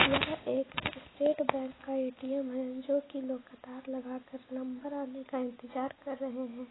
यह एक state bank का ऐ.टी.एम है जो की लोग क़तार लगा के नंबर आने का इंतजार कर रहे है।